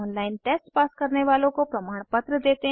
online test pass करने वालों को प्रमाणपत्र देते हैं